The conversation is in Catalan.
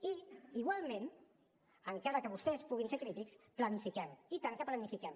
i igualment encara que vostès puguin ser crítics planifiquem i tant que planifiquem